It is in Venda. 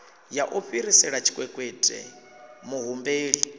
ya u fhirisela tshikwekwete muhumbeli